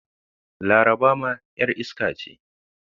Laraba mai yar iska ce.